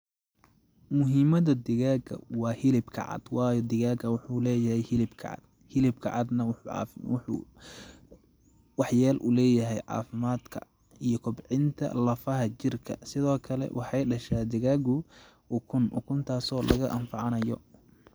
Muhimada digaaga waa hilibka cad waayo digaaga waxuu lee yahay hilbka cad, hilibka cadna waxuu wax yeel u lee yahay caafimaadka iyo kobcinta lafaha jirka ,sidoo kale waxeey dhashaa digaagu ukun ,ukun taaso laga anfacanayo.